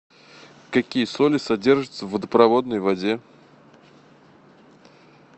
какие соли содержатся в водопроводной воде